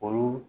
Olu